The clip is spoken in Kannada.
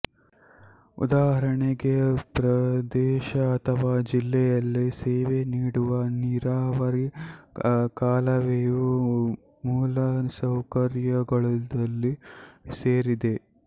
ಉದಾಹರಣೆಗೆ ಪ್ರದೇಶ ಅಥವಾ ಜಿಲ್ಲೆಯಲ್ಲಿ ಸೇವೆ ನೀಡುವ ನೀರಾವರಿ ಕಾಲುವೆಯು ಮೂಲಸೌಕರ್ಯದಲ್ಲಿ ಸೇರಿದೆ